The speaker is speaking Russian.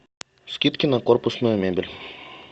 скидки на корпусную мебель